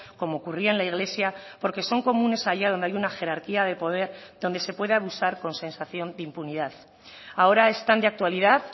como ocurría en la iglesia porque son comunes allá donde hay una jerarquía de poder donde se puede abusar con sensación de impunidad ahora están de actualidad